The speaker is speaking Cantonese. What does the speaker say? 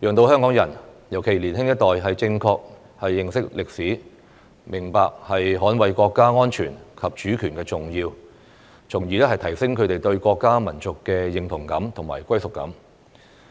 讓香港人，尤其是年輕一代，正確認識歷史，明白捍衞國家安全及主權的重要，從而提升他們對國家民族的認同感和歸屬感。